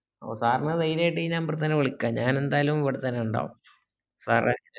ഓ sir ന് ധൈര്യയ്ട്ട് ഈ number ഇൽ തന്നെ വിളിക്കാ ഞാൻ ന്തായാലും ഇവിടതന്നെ ഇണ്ടാകും sir ഏ